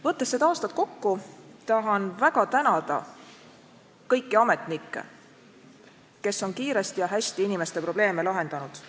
Võttes seda aastat kokku, tahan väga tänada kõiki ametnikke, kes on kiiresti ja hästi inimeste probleeme lahendanud.